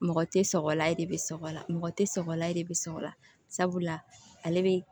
Mɔgɔ tɛ sɔgɔlan de bɛ sɔgɔlan mɔgɔ tɛ sɔgɔla e de bɛ sɔgɔla sabula ale be